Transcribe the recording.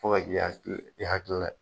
Fo ka ki hakili, i halikilila ye.